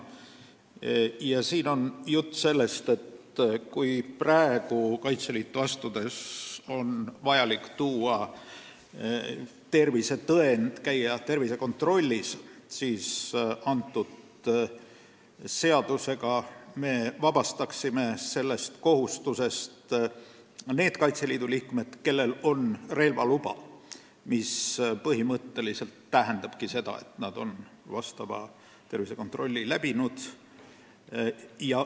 Asi on selles, et kui praegu peab Kaitseliitu astudes esitama tervisetõendi ehk siis käima tervisekontrollis, siis eelnõu kohaselt me vabastaksime sellest kohustusest need Kaitseliidu liikmed, kellel on relvaluba, kuna see põhimõtteliselt tähendab, et nad on tervisekontrolli läbinud.